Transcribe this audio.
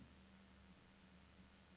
en fire to en tolv seks hundrede og fire